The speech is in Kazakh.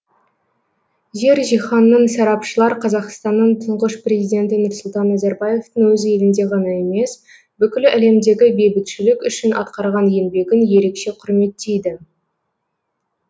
жер жиһанның сарапшылар қазақстанның тұңғыш президенті нұрсұлтан назарбаевтың өз елінде ғана емес бүкіл әлемдегі бейбітшілік үшін атқарған еңбегін ерекше құрметтейді